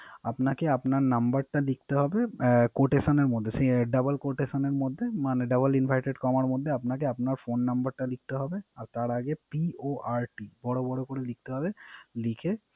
‌আপনাকে আপনার নাম্বারটা লিখেতে হবে Quotation এর মধ্যে Double Cotation এর মধ্যে মানে Double inverted কমার মধ্যে আপনার ফোন নাম্বারটা লিখতে হবে। তার আগে PORT বড় বড় করে লিখতে হবে লিখে